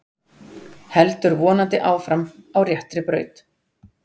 Heldur vonandi áfram á réttri braut